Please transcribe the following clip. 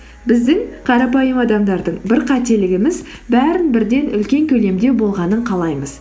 біздің қарапайым адамдардың бір қателігіміз бәрін бірден үлкен көлемде болғанын қалаймыз